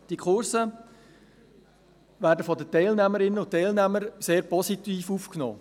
Diese Kurse werden von den Teilnehmerinnen und Teilnehmern sehr positiv aufgenommen.